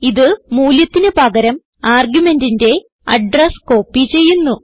ഇത് മൂല്യത്തിന് പകരം argumentന്റെ അഡ്രസ് കോപ്പി ചെയ്യുന്നു